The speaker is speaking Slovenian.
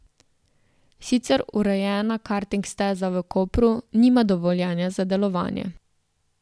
Sicer urejena karting steza v Kopru nima dovoljenja za delovanje.